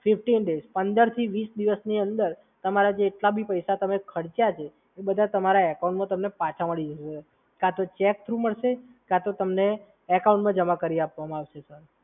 Fifteen days, પંદરથી વીસ દિવસની અંદર તમારા જેટલાબી પૈસા તમે ખર્ચ્યા છે એ બધા તમને તમારા એકાઉન્ટમાં તમને પાછા મળી જશે, સર. કાં તો ચેક થ્રુ મળશે કાં તો તમને એકાઉન્ટમાં જમા કરી આપવામાં આવશે, સર.